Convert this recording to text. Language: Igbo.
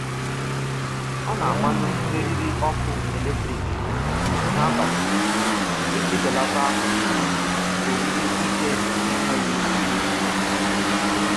Ọ na-agbanyụ eriri ọkụ eletrik n'abalị iji belata oriri ike n'enweghị uru.